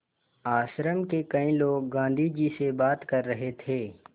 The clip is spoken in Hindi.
आश्रम के कई लोग गाँधी जी से बात कर रहे थे